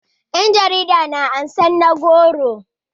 yan jarida na karbar na goro